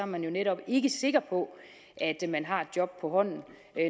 man jo netop ikke sikker på at man har et job på hånden